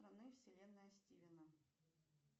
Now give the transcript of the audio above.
вселенная стивена